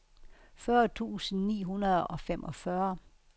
fyrre tusind ni hundrede og femogfyrre